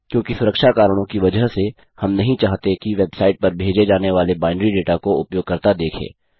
क्योंकि सुरक्षा कारणों की वजह से हम नहीं चाहते कि वेबसाइट पर भेजे जाने वाले बाइनरी दाता को उपयोगकर्ता देखे